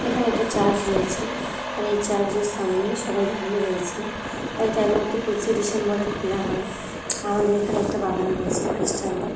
এখানে একটা চার্চ রয়েছে। আর এই চার্জের সামনে সবাই দাঁড়িয়ে রয়েছে। এটা একমাত্র ২৫শে ডিসেম্বরে খোলা হয়। আমাদের এখানে একটা বাগান রয়েছে খ্রিস্টানদের ।